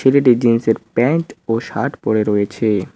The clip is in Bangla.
ছেলেটি জিন্স -এর প্যান্ট ও শার্ট পরে রয়েছে।